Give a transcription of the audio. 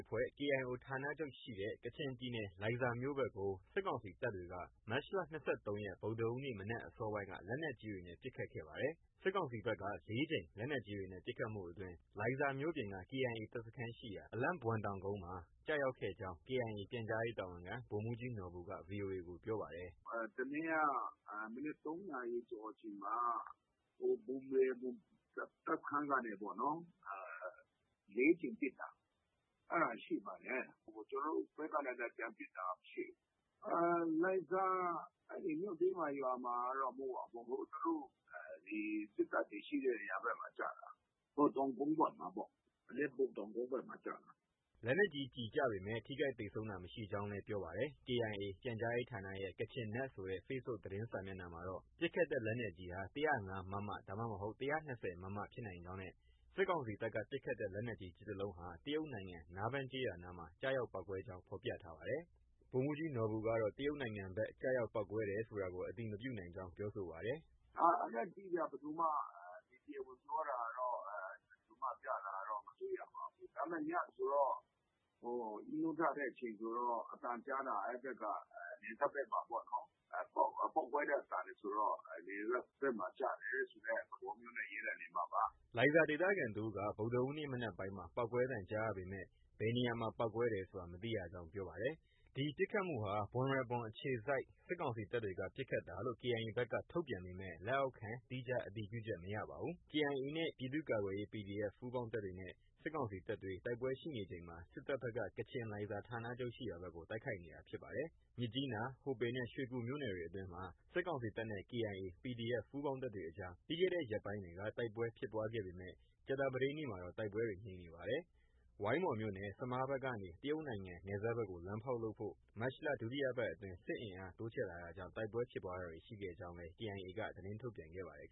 အဖွဲ့ KIO ဌာနချုပ်ရှိတဲ့ ကချင်ပြည်နယ် လိုင်ဇာမြို့ဘက်ကို စစ်ကောင်စီတပ်တွေက မတ်လ ၂၃ ရက် ဗုဒ္ဓဟူးနေ့ မနက်အစောပိုင်းက လက်နက်ကြီးတွေနဲ့ ပစ်ခတ်ခဲ့ပါတယ်။ စစ်ကောင်စီဘက်က ၄ ကြိမ် လက်နက်ကြီးတွေနဲ့ ပစ်ခတ်မှုအတွင်း လိုင်ဇာမြို့ပြင်က KIA တပ်စခန်းရှိရာ အလဲန့်ဘွမ် တောင်ကုန်းဖက်မှာ ကျရောက်ခဲ့ကြောင်း KIA ပြန်ကြားရေးတာဝန်ခံ ဗိုလ်မှုးကြီး နော်ဘူက VOA ကို ပြောပါတယ်။ “ တစ်နေ့က မနက် ၃နာရီကျော်အချိန်မှာ ဘွမ်ရဲဘွမ် တပ်စခန်းကနေ ၄ကြိမ်ပစ်တာ။ အဲဒါ ရှိပါတယ်။ ကျနော်တို့ဘက်က ပြန်ပစ်တာမရှိဘူး။ လိုင်ဇာ မြို့တွင်းမှာ၊ ရွာမှာတော့ မဟုတ်ပါဘူး။ အဲဒီသူတို့ စစ်တပ်တွေရှိတဲ့ နေရာဘက်မှာ ကျတာ။ တောင်ကုန်းဘက်မှာပေါ့။ အလဲန့်ဘွမ်တောင်ကုန်းဘက်မှာ ကျတာ။” လက်နက်ကြီးကျည်ကျပေမဲ့ ထိခိုက်သေဆုံးတာ မရှိကြောင်းလည်း ပြောပါတယ်။ KIA ပြန်ကြားရေးဌာနရဲ့ Kachin Net ဆိုတဲ့ Facebook သတင်းစာမျက်နှာမှာတော့ ပစ်ခတ်တဲ့ လက်နက်ကြီးဟာ ၁၀၅ မမ ဒါမှမဟုတ် ၁၂၀ မမ ဖြစ်နိုင်ကြောင်းနဲ့ စစ်ကောင်စီတပ်က ပစ်ခတ်တဲ့ လက်နက်ကြီး ကျည်တစ်လုံးဟာ တရုတ်နိုင်ငံ နားဘန်းကျေးရွာဘက်မှာ ကျရောက်ပေါက်ကွဲကြောင်း ဖော်ပြထားပါတယ်။ ဗိုလ်မှုးကြီးနော်ဘူကတော့ တရုတ်နိုင်ငံဘက် ကျရောက်ပေါက်ကွဲတယ်ဆိုတာကို အတည်မပြုနိုင်ကြောင်း ပြောဆိုပါတယ်။ “ အဲဒါ အတိအကျ ဘယ်သူမှတော့ တရားဝင်ပြောတာတော့၊ ဘယ်သူမှ ကျတယ်ဆိုတာတော့ မတွေ့ရပါဘူး။ ဒါပေမဲ့ ညဆိုတော့ ၊ နိုးထတဲ့အချိန်ဆိုတော့ အသံကြားတာ အဲဒီဘက်က နယ်စပ်ဘက်မှာပေါ့နော်။ ပေါက်ကွဲတဲ့အသံတွေဆိုတော့ နယ်စပ်ဘက်မှာ ကျတယ်ဆိုတဲ့ သဘောမျိုးနဲ့ ရေးတာနေမှာပါ။” လိုင်ဇာဒေသခံတစ်ဦးက ဗုဒ္ဓဟူးနေ့ မနက်ပိုင်းမှာ ပေါက်ကွဲသံကြားရပေမယ့် ဘယ်နေရာ ပေါက်ကွဲတယ်ဆိုတာ မသိရကြောင်း ပြောပါတယ်။ ဒီပစ်ခတ်မှုဟာ ဘွမ်ရဲဘွမ်အခြေစိုက် စစ်ကောင်စီတပ်တွေက ပစ်ခတ်တာလို့ KIA ဘက်က ထုတ်ပြန်ပေမယ့် သီးခြားအတည်ပြုချက် မရသေးပါဘူး။ KIA နဲ့ပြည်သူ့ကာကွယ်ရေး PDF ပူးပေါင်းတပ်တွေက စစ်ကောင်စီတပ်တွေနဲ့ တိုက်ပွဲရှိနေချိန်မှာ စစ်တပ်ဘက်က ကချင် လိုင်ဇာဌာနချုပ်ရှိရာဖက်ကို တိုက်ခိုက်နေတာဖြစ်ပါတယ်။ မြစ်ကြီးနား၊ ဟိုပင်နဲ့ ရွှေကူမြို့နယ်တွေအတွင်းမှာ စစ်ကောင်စီတပ်နဲ့ KIA ၊ PDF ပူးပေါင်းတပ်တွေအကြား ပြီးခဲ့တဲ့ရက်ပိုင်းတွေက တိုက်ပွဲဖြစ်ပွားခဲ့ပေမဲ့ ကြာသပတေးနေ့မှာတော့ တိုက်ပွဲတွေ ငြိမ်နေပါတယ်။ ဝိုင်းမော်မြို့နယ် ဆမားဘက်ကနေ တရုတ်နိုင်ငံ နယ်စပ်ဘက်ကို လမ်းဖောက်လုပ်ဖို့ မတ်လ ဒုတိယပတ်အတွင်း စစ်အင်အား တိုးချဲ့လာတာကြောင့် တိုက်ပွဲဖြစ်ပွားတာတွေ ရှိခဲ့ကြောင်း KIA က သတင်းထုတ်ပြန်ခဲ့ပါတယ်